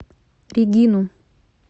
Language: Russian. регину